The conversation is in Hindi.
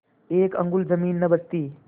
एक अंगुल जमीन न बचती